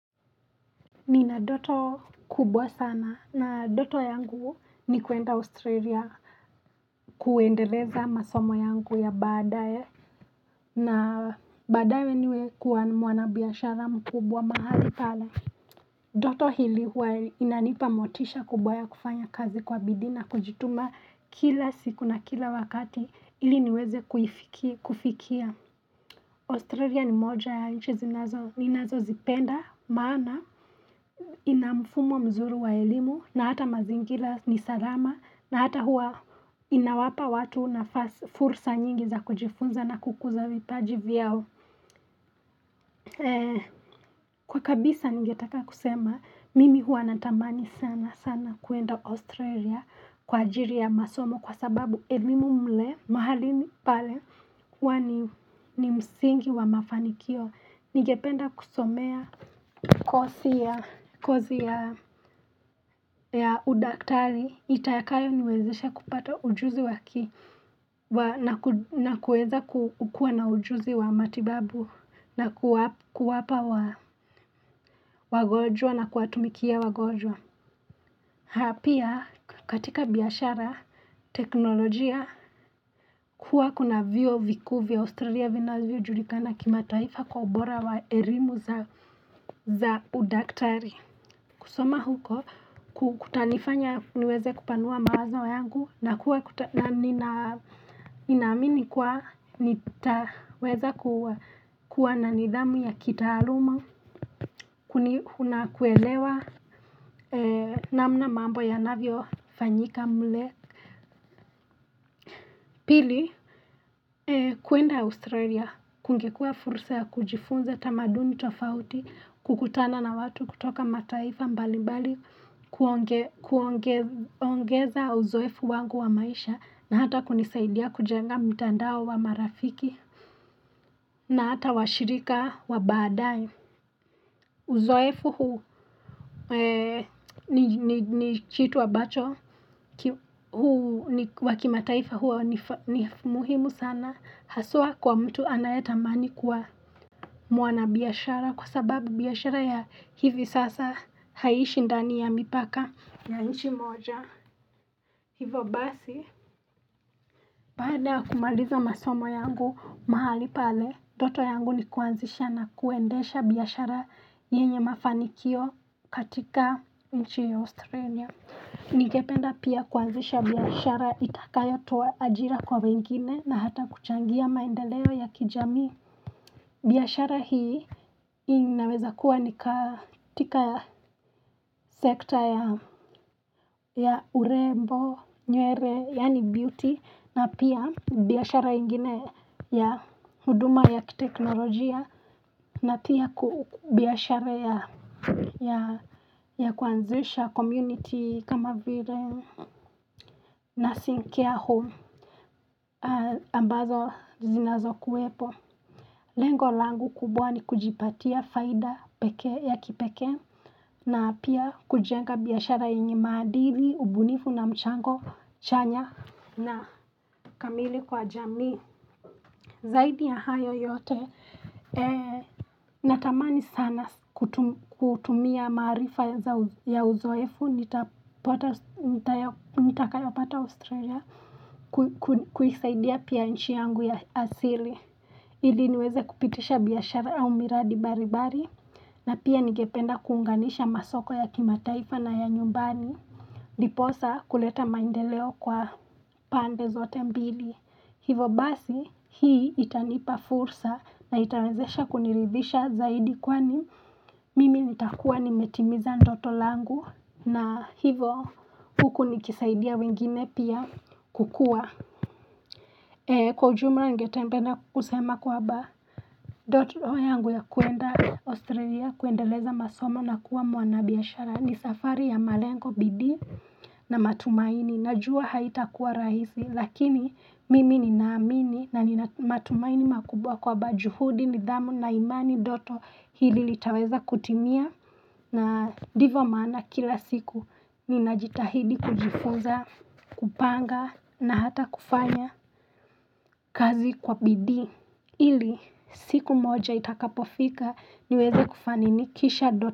Nina doto kubwa sana na doto yangu ni kuenda Australia kuendeleza masomo yangu ya badae na badae we niwe kuwa mwanabiashara mkubwa mahali pala. Doto hili huwa inanipa motisha kubwa ya kufanya kazi kwa bidina kujituma kila siku na kila wakati ili niweze kuifikia kufikia. Australia ni moja ya nchi zinazo ninazozipenda maana ina mfumo mzuri wa elimu na hata mazingira ni salama na hata huwa inawapa watu nafasi fursa nyingi za kujifunza na kukuza vipaji vyao. Kwa kabisa ningetaka kusema mimi huwa natamani sana sana kwenda Australia kwa ajili ya masomo kwa sababu elimu mle mahalini pale huwa ni msingi wa mafanikio. Ningependa kusomea kosi ya kozi ya ya udaktari itakayo niwezesha kupata ujuzi waki wa naku na kuweza ku kukuwa na ujuzi wa matibabu na kuwap kuwapa wagojwa na kuwatumikia wagojwa. Ha pia katika biashara teknolojia kuwa kuna vyuo vikuu vya Australia vinavyojulikana kimataifa kwa ubora wa erimu za za udaktari kusoma huko ku kutanifanya niweze kupanua mawazo yangu na kuwa kuta nanina amini kwa nitaweza ku kuwa na nidhamu ya kitaaluma kuni huna kuelewa eeee namna mambo yanavyo fanyika mle. Pili eee kwenda Australia kungekua fursa ya kujifunza tamaduni tofauti kukutana na watu kutoka mataifa mbali mbali, kuonge kuonge kuongeza uzoefu wangu wa maisha. Na hata kunisaidia kujenga mtandao wa marafiki na hata washirika wa baadae Uzoefu huu eeeee ni ni chitu abacho ki hu wakimataifa huwa wanifa ni muhimu sana haswa kwa mtu anayetamani kwa mwana biashara kwa sababu biashara ya hivi sasa haishi ndani ya mipaka na nchi moja hivo basi baada kumaliza masomo yangu mahali pale toto yangu ni kuanzisha na kuendesha biashara yenye mafanikio katika nchi Australia Ningependa pia kuanzisha biashara itakayotoa ajira kwa wengine na hata kuchangia maendeleo ya kijamii biashara hii inaweza kuwa nikaa tika ya sekta ya urembo, nywere, yani beauty na pia biashara ingine ya huduma ya teknolojia na pia ku ku biashara ya ya kuanzisha community kama vile nursing care home aaaa ambazo zinazokuwepo. Lengo langu kubwa ni kujipatia faida pekee ya kipekee na pia kujenga biashara yenye maadili, ubunifu na mchango, chanya na kamili kwa jamii. Zaidi ya hayo yote eeeh, natamani sana sa kutu kutumia maarifa za ya uzoefu nitapata nitayo, nitakayopata Australia ku kwi kuisaidia pia nchi yangu ya asili. Ili niweze kupitisha biashara au miradi bari bari, na pia nigependa kuunganisha masoko ya kimataifa na ya nyumbani. Ndiposa kuleta maendeleo kwa pande zote mbili. Hivyo basi hii itanipa fursa na itawezesha kuniridhisha zaidi kwani Mimi nitakuwa nimetimiza ndoto langu na hivo huku nikisaidia wengine pia kukua Kwa ujumla ningetembe na kusema kwaba doto yangu ya kwenda Australia kuendeleza masomo na kuwa mwanabiashara ni safari ya malengo, bidii na matumaini najua haitakuwa rahisi lakini mimi ninaamini na ni matumaini makubwa kwaba juhudi, nidhamu na imani doto hili litaweza kutimia na divo maana kila siku ninajitahidi kujifuza kupanga na hata kufanya kazi kwa bidii ili siku moja itakapofika niweze kufaninikisha do.